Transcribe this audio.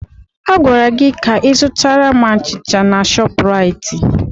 Agwara gị ka ị zụtara m achịcha na Shọpraịt!